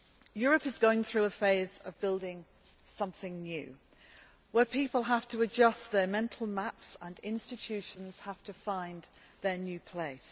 Europe is going through a phase of building something new, where people have to adjust their mental maps and institutions have to find their new place.